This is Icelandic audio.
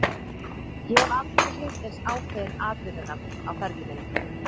Ég hef aldrei hitt eins ákveðinn atvinnumann á ferli mínum.